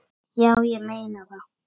Já, ég meina það.